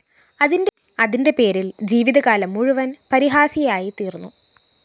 അതിന്റെപേരില്‍ ജീവിതകാലം മുഴുവന്‍ പരിഹാസ്യയായിത്തീര്‍ന്നു